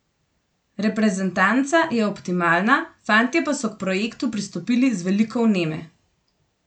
Reprezentanca je optimalna, fantje pa so k projektu pristopili z veliko vneme.